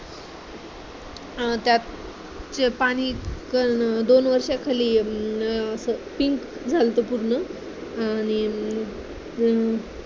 त्यात पाणीपण दोन वर्षाखाली असं pink झालं होत पूर्ण आणि